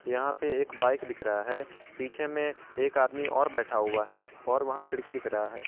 यहां पे एक बाइक दिख रहा है पीछे में एक आदमी और बैठा हुआ है और वहां खिड़की दिख रहा है।